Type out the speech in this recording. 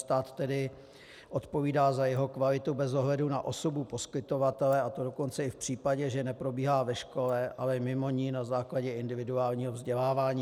Stát tedy odpovídá za jeho kvalitu bez ohledu na osobu poskytovatele, a to dokonce i v případě, že neprobíhá ve škole, ale mimo ni na základě individuálního vzdělávání.